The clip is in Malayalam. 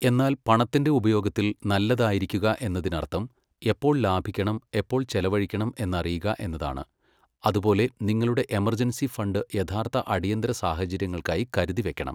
എന്നാൽ പണത്തിന്റെ ഉപയോഗത്തിൽ നല്ലതായിരിക്കുക എന്നതിനർത്ഥം എപ്പോൾ ലാഭിക്കണം, എപ്പോൾ ചെലവഴിക്കണം എന്നറിയുക എന്നതാണ്, അതുപോലെ നിങ്ങളുടെ എമർജൻസി ഫണ്ട് യഥാർത്ഥ അടിയന്തര സാഹചര്യങ്ങൾക്കായി കരുതി വെയ്ക്കണം.